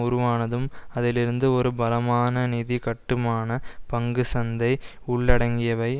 உருவானதும் அதிலிருந்து ஒரு பலமான நிதி கட்டுமானம் பங்கு சந்தை உள்ளடங்கியவை